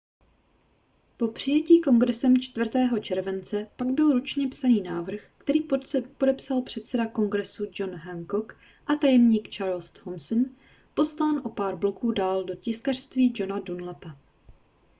po přijetí kongresem 4. července pak byl ručně psaný návrh který podepsal předseda kongresu john hancock a tajemník charles thomson poslán o pár bloků dál do tiskařství johna dunlapa